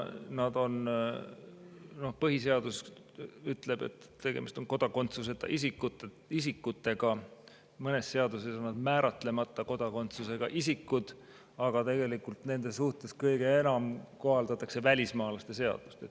Põhiseadus ütleb, et tegemist on kodakondsuseta isikutega, mõnes seaduses on nad määratlemata kodakondsusega isikud, aga tegelikult nende suhtes kõige enam kohaldatakse välismaalaste seadust.